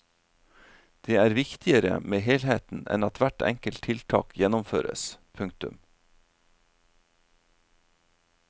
Det er viktigere med helheten enn at hvert enkelt tiltak gjennomføres. punktum